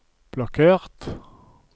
blokkert